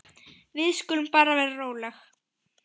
Við skulum bara vera róleg.